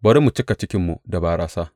Bari mu cika cikinmu da barasa!